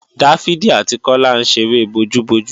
Dáfídì àti Kọ́lá ń ṣeré bojú-bojú